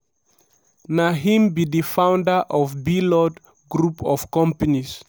na him be di founder of blord group of companies.